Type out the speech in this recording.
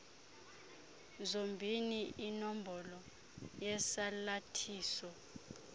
zombini inombolo yesalathiso